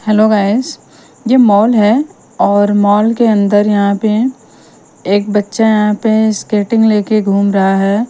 Hello guys यह mall है और मॉल के अंदर यहां पे एक बच्चा यहां पे स्केटिंग लेके घूम रहा है।